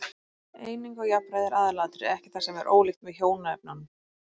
Eining og jafnræði er aðalatriði, ekki það sem er ólíkt með hjónaefnunum.